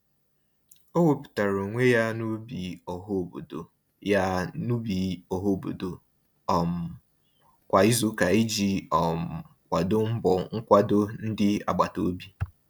O wepụtara onwe ya n'ubi ọhaobodo ya n'ubi ọhaobodo um kwa izuụka iji um kwado mbọ nkwado ndị agbataobi.